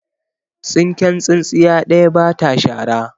Tsinken tsintsiya ɗaya ba ta shara.